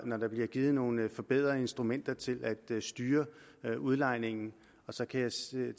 når der bliver givet nogle forbedrede instrumenter til at styre udlejningen så kan jeg sige